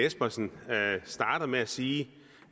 espersen starter med at sige